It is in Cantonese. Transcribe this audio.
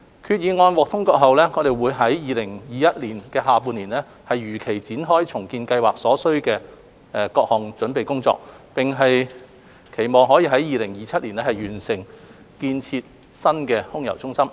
決議案獲通過後，我們會於2021年下半年如期展開重建計劃所需的各項準備工作，期望可於2027年完成建設新空郵中心。